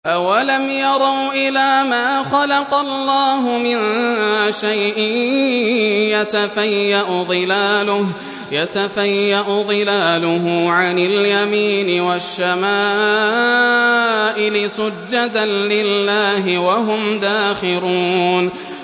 أَوَلَمْ يَرَوْا إِلَىٰ مَا خَلَقَ اللَّهُ مِن شَيْءٍ يَتَفَيَّأُ ظِلَالُهُ عَنِ الْيَمِينِ وَالشَّمَائِلِ سُجَّدًا لِّلَّهِ وَهُمْ دَاخِرُونَ